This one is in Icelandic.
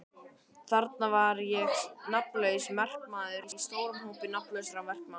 Þarna var ég nafnlaus verkamaður í stórum hópi nafnlausra verkamanna.